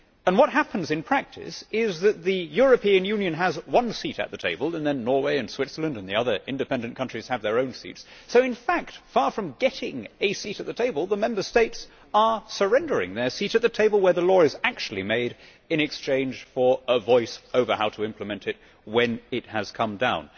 What happens in practice is that the European Union has one seat at the table and then Norway and Switzerland and the other independent countries have their own seats so in fact, far from getting a seat at the table, the Member States are surrendering their seat at the table where the law is actually made in exchange for a voice over how to implement it when it has come down.